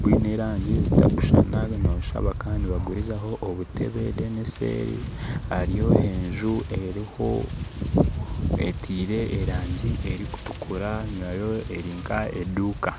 bwine erangi zitakushushana nosha bakaba nibagurizaho obutebe then eseeri hariyo enju eruho etiire erangi erukutukura nayo erinka eduuka.